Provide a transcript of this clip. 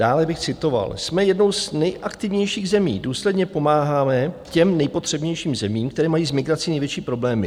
Dále bych citoval: "Jsme jednou z nejaktivnějších zemí, důsledně pomáháme těm nejpotřebnějším zemím, které mají s migrací největší problémy.